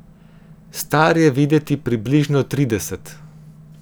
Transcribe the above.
Star je videti približno trideset.